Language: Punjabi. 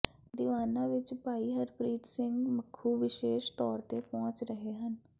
ਦੀਵਾਨਾ ਵਿੱਚ ਭਾਈ ਹਰਪ੍ਰੀਤ ਸਿੰਘ ਮੱਖੂ ਵਿਸ਼ੇਸ਼ ਤੌਰ ਤੇ ਪਹੁੰਚ ਰਹੇ ਹਨ